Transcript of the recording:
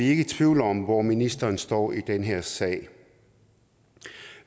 ikke i tvivl om hvor ministeren står i den her sag